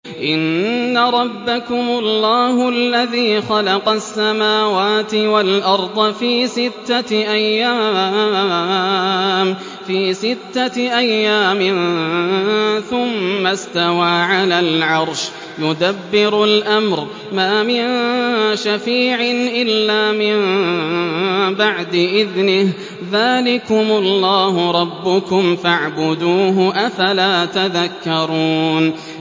إِنَّ رَبَّكُمُ اللَّهُ الَّذِي خَلَقَ السَّمَاوَاتِ وَالْأَرْضَ فِي سِتَّةِ أَيَّامٍ ثُمَّ اسْتَوَىٰ عَلَى الْعَرْشِ ۖ يُدَبِّرُ الْأَمْرَ ۖ مَا مِن شَفِيعٍ إِلَّا مِن بَعْدِ إِذْنِهِ ۚ ذَٰلِكُمُ اللَّهُ رَبُّكُمْ فَاعْبُدُوهُ ۚ أَفَلَا تَذَكَّرُونَ